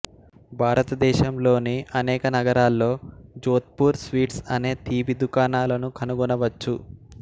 భారతదేశంలోని అనేక నగరాల్లో జోధ్పూర్ స్వీట్స్ అనే తీపి దుకాణాలను కనుగొనవచ్చు